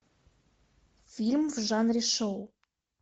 фильм в жанре шоу